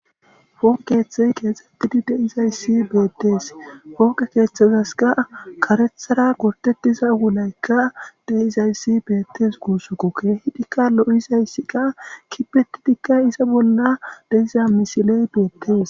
fooqe keththey keexxettidi de7izayssi beettees fooke keeththazaska karethara gortettiza wulaykka deizayssi beettes guussukokke hidikka lo7izayssika kipetidikkay iza bolla deiza misiley beettees